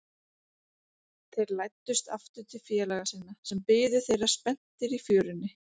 Þeir læddust aftur til félaga sinna, sem biðu þeirra spenntir í fjörunni.